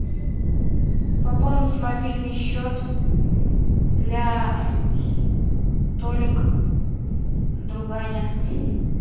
пополнить мобильный счет для толик друганя